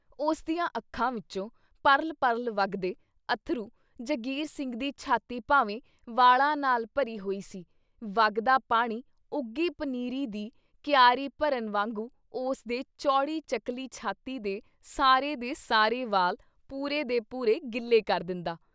ਉਸਦੀਆਂ ਅੱਖਾਂ ਵਿੱਚੋਂ ਪਰਲ ਪਰਲ ਵਗਦੇ ਅੱਥਰੂ ਜੰਗੀਰ ਸਿੰਘ ਦੀ ਛਾਤੀ ਭਾਵੇਂ ਵਾਲਾਂ ਨਾਲ ਭਰੀ ਹੋਈ ਸੀ, ਵਗਦਾ ਪਾਣੀ ਉੱਗੀ ਪਨੀਰੀ ਦੀ ਕਿਆਰੀ ਭਰਨ ਵਾਂਗੂ ਉਸ ਦੇ ਚੌੜੀ ਚਕਲੀ ਛਾਤੀ ਦੇ ਸਾਰੇ ਦੇ ਸਾਰੇ ਵਾਲ ਪੂਰੇ ਦੇ ਪੂਰੇ ਗਿੱਲੇ ਕਰ ਦਿੰਦਾ।